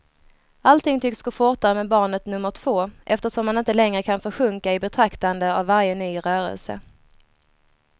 Allting tycks gå fortare med barnet nummer två, eftersom man inte längre kan försjunka i betraktande av varje ny rörelse.